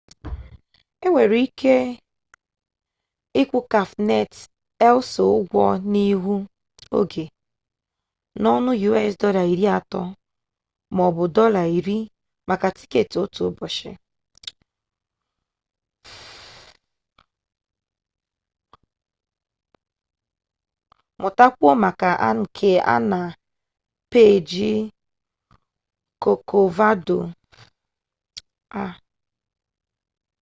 e nwere ike ịkwụ cafenet el sol ụgwọ n'ihu oge n'ọnụ us$30 maọbụ $10 maka tiketi otu ụbọchị; mụtakwuo maka nke a na peeji kọkovado ha